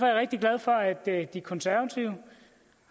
jeg rigtig glad for at de konservative